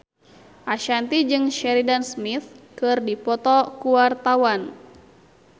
Ashanti jeung Sheridan Smith keur dipoto ku wartawan